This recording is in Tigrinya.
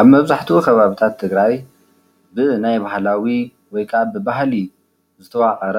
ኣብ መብዛሕትኡ ከባብታት ትግራይ ብናይ ባህላዊ ወይከኣ ብባህሊ ዝተዋቐረ